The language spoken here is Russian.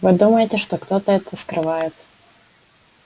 вы думаете что кто-то это скрывает